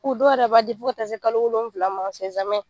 Fo dɔ yɛrɛ b'a di fo ka tɛ se kalo wolofila ma